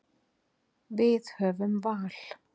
Við höfum val.